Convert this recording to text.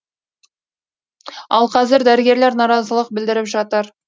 ал қазір дәрігерлер наразылық білдіріп жатыр